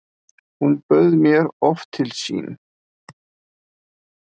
Hún bauð mér oft til sín.